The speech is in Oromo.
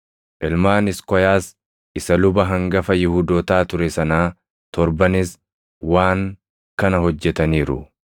Ilmaan Iskoyaas, isa luba hangafa Yihuudootaa ture sanaa torbanis waan kana hojjetaniiru.